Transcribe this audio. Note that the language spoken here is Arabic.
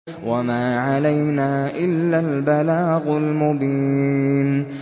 وَمَا عَلَيْنَا إِلَّا الْبَلَاغُ الْمُبِينُ